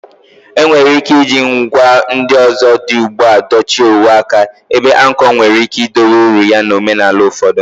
Enwere ike iji ngwa ndị ọzọ dị ugbu a dochie uwe aka, ebe anko nwere ike idowe uru ya na omenala ụfọdụ.